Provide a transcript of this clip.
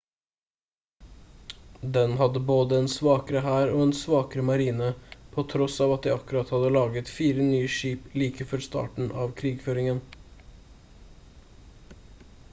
den hadde både en svakere hær og en svakere marine på tross av at de akkurat hadde laget 4 nye skip like før starten av krigføringen